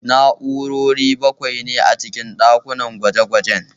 Na'urori bakwai ne a cikin ɗakin gwaje-gwajen